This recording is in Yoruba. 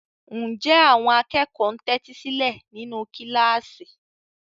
Ǹjẹ́ àwọn akẹ́kọ̀ọ́ ń tẹ́tí sílẹ̀ nínú kíláàsì?